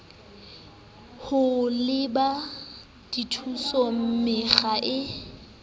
ho lebela dithuso mekga e